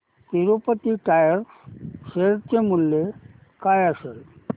Tirupati tyres share चे मूल्य काय असेल